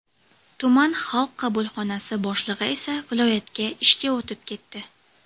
Tuman Xalq qabulxonasi boshlig‘i esa viloyatga ishga o‘tib ketdi.